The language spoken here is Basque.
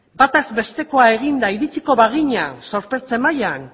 bataz bestekoa eginda iritsiko bagina zorpetze mailan